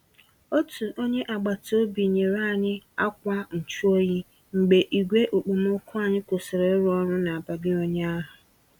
Otú onyé agbata obi nyere anyị akwa nchụ-oyi mgbe igwe okpomọkụ anyị kwụsịrị ịrụ ọrụ n'abalị ụnyaahụ.